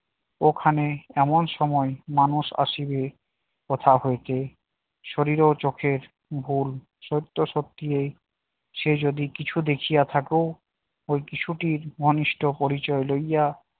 ওখানে এমন সময় মানুষ আসিবে কথা হইতে শরীর ও চোখের ভুল সত্য সত্যি এই সে যদি কিছু দেখিয়া থাকো ওই কিশোরী মানুষটির পরিচয় লইয়া